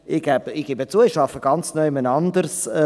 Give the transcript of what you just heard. Ich gebe zu, ich arbeite ganz woanders.